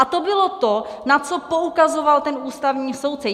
A to bylo to, na co poukazoval ten ústavní soudce.